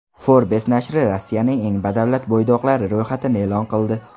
Forbes nashri Rossiyaning eng badavlat bo‘ydoqlari ro‘yxatini e’lon qildi.